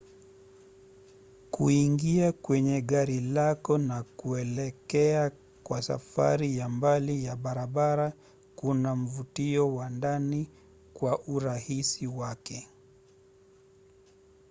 kuingia kwenye gari lako na kuelekea kwa safari ya mbali ya barabara kuna mvutio wa ndani kwa urahisi wake